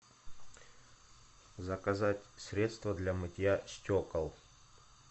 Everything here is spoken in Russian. заказать средство для мытья стекол